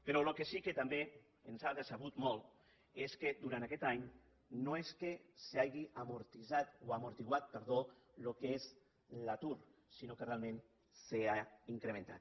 però el que sí que també ens ha decebut molt és que durant aquest any no és que s’hagi esmorteït el que és l’atur sinó que realment s’ha incrementat